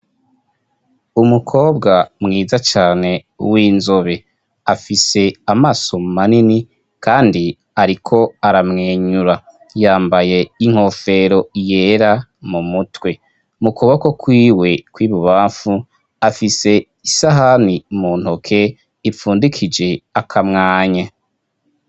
Umukobwa mwiza cane w'inzobe afise amaso manini kandi ariko aramwenyura yambaye inkofero yera mu mutwe mu kuboko kwiwe kwibubafu afise isahani mu ntoke ipfundikije akamwanye.